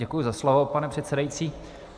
Děkuji za slovo, pane předsedající.